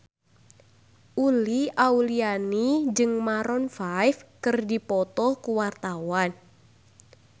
Uli Auliani jeung Maroon 5 keur dipoto ku wartawan